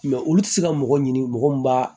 olu tɛ se ka mɔgɔ ɲini mɔgɔ min b'a